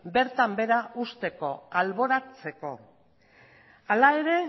bertan behera usteko alboratzeko hala ere